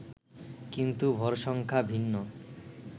কিন্তু ভর সংখ্যা ভিন্ন